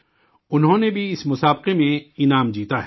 انہوں نے بھی اس مقابلہ میں انعام جیتا ہے